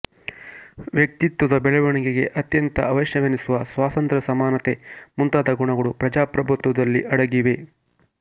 ವ್ಯಕ್ತಿತ್ವದ ಬೆಳವಣಿಗೆಗೆ ಅತ್ಯಂತ ಅವಶ್ಯವೆನಿಸುವ ಸ್ವಾತಂತ್ರ್ಯ ಸಮಾನತೆ ಮುಂತಾದ ಗುಣಗಳು ಪ್ರಜಾಪ್ರಭುತ್ವದಲ್ಲಿ ಅಡಗಿವೆ